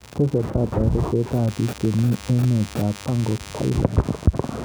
Tesetai torotet ab bik chebmi emet ab Pangok Thailand.